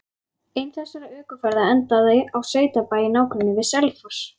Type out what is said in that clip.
Ein þessara ökuferða endaði á sveitabæ í nágrenni við Selfoss.